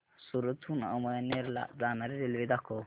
सूरत हून अमळनेर ला जाणारी रेल्वे दाखव